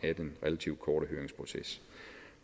af den relativt korte høringsproces